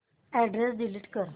address delete कर